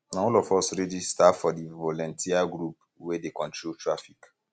na all um of us register um for di voluteer group wey dey control traffic